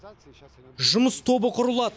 жұмыс тобы құрылады